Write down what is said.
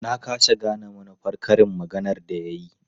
Na ƙasa gane manufar karin maganar da ya yi.